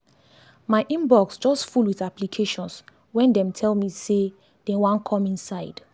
my inbox just full with applications wen dem tell me say dem wan come inside